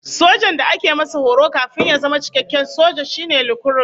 Sojan da ake masa horo kafin ya zama cikakken soja, shi ne lukurut